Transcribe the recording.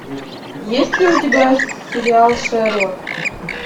есть ли у тебя сериал шерлок